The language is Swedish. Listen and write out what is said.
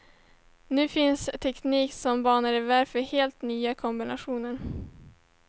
Nu finns teknik som banar väg för helt nya kombinationer.